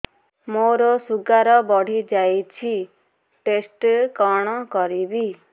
ମୋର ଶୁଗାର ବଢିଯାଇଛି ଟେଷ୍ଟ କଣ କରିବି